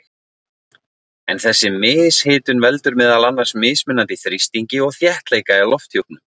en þessi mishitun veldur meðal annars mismunandi þrýstingi og þéttleika í lofthjúpnum